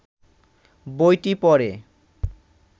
বইটি পড়ে